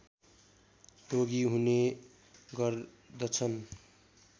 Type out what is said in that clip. रोगी हुने गर्दछन्